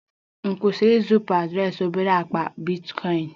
M kwesịrị izipu m adreesị obere akpa bitcoin?